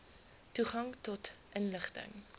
toegang tot inligting